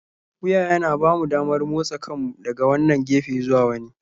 Wuya yana ba mu damar motsa kanmu daga wannan gefe zuwa wani.